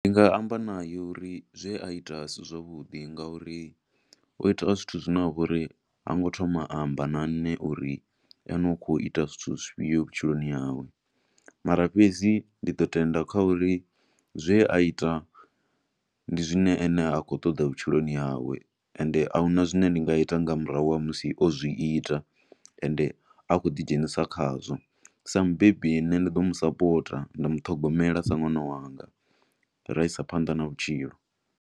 Ndi nga amba nae uri zwe a ita a si zwavhuḓi nga uri o ita zwithu zwine ha vha uri ha ngo thoma a amba na nne uri ene u khou ita zwithu zwifhio vhutshiloni hawe. Mara fhedzi ndi ḓo tenda kha uri zwe a ita, ndi zwine ene a khou ṱoḓa vhutshiloni hawe, ende ahuna zwine ndi nga ita nga murahu ha musi o zwiita, ende a khou ḓi dzhenisa khazwo. Sa mubebi, nne ndi ḓo mu sapota, nda mu ṱhogomela sa nwana wanga, ra isa phanḓa na vhutshilo.